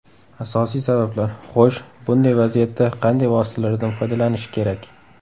Asosiy sabablar: Xo‘sh, bunday vaziyatda qanday vositalardan foydalanish kerak?